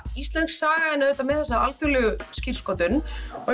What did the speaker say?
íslensk saga og með alþjóðlega skírskotun